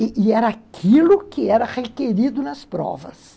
E era aquilo que era requerido nas provas.